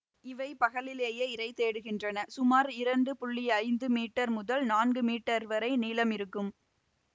இவை பகலிலே இரை தேடுகின்றன சுமார் இரண்டு புள்ளி ஐந்து மீட்டர் முதல் நான்கு மீட்டர் வரை நீளம் இருக்கும்